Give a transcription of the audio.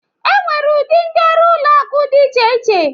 Enwere ụdị ndị ọrụ ụlọ akụ dị iche iche